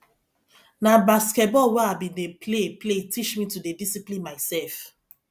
na basketball wey i bin dey play play teach me to dey discipline mysef